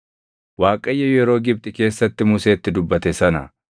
Waaqayyo yeroo Gibxi keessatti Museetti dubbate sana